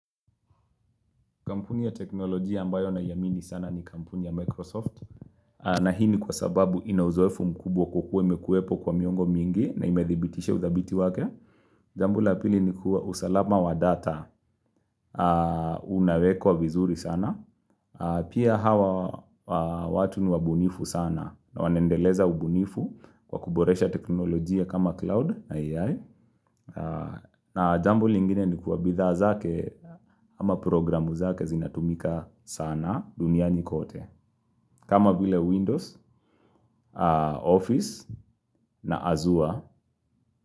Kampuni ya teknolojia ambayo naiamini sana ni kampuni ya Microsoft. Na hii ni kwa sababu ina uzoefu mkubwa kwa kuwa imekuwepo kwa miongo mingi na imethibitishs uthabiti wake. Jambu la pili ni kuwa usalama wa data unawekwa vizuri sana. Pia hawa watu ni wabunifu sana na wanendeleza ubunifu kwa kuboresha teknoloji ya kama cloud na AI. Na jambo lingine ni kuwa bidha zake ama programu zake zinatumika sana. Duniani kote. Kama vile Windows, Office na Azure.